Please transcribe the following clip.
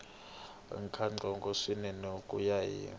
nkhaqato swinene ku ya hi